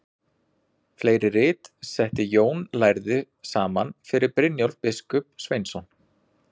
Fleiri rit setti Jón lærði saman fyrir Brynjólf biskup Sveinsson.